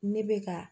Ne bɛ ka